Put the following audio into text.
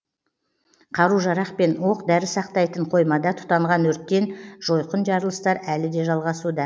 қару жарақ пен оқ дәрі сақтайтын қоймада тұтанған өрттен жойқын жарылыстар әлі де жалғасуда